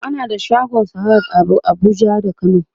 ana da shagon sahad a Abuja da kano